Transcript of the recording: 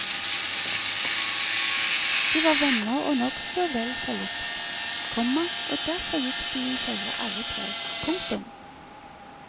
De var venner og nokså vel forlikt, komma og derfor gikk de i følge alle tre. punktum